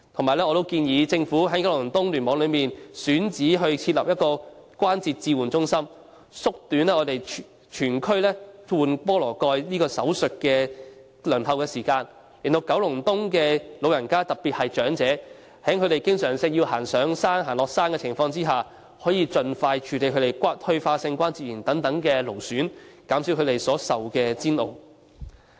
此外，我亦建議當局應盡快在九龍東聯網內選址設立關節置換中心，縮短區內關節置換手術的輪候時間，讓九龍東的市民，特別是那些經常要上山下山的長者，可以盡快處理退化性關節炎等勞損病症，減少他們所受的煎熬。